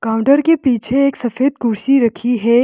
Counter के पीछे एक सफेद कुर्सी रखी है।